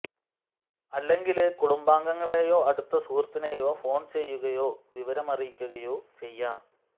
അല്ലെങ്കില് കുടുംബാംഗങ്ങളെയോ അടുത്ത സുഹൃത്തിനെയോ ഫോണ് ചെയ്യുകയോ വിവരം അറിയിക്കുകയോ ചെയ്യാം